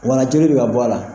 Wala joli bɛ ka bɔ a la.